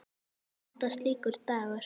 Hvað kostar slíkur dagur?